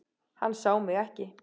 Hann sá mig ekki.